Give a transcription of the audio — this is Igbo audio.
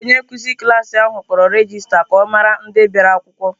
Onye nkụzi klas ahụ kpọrọ regista ka ọ mara ndị bịara akwụkwọ.